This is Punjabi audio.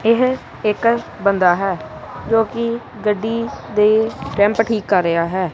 ਇਹ ਇੱਕ ਬੰਦਾ ਹੈ ਜੋ ਕਿ ਗੱਡੀ ਦੇ ਰੈਮਪ ਠੀਕ ਕਰ ਰਿਹਾ ਹੈ।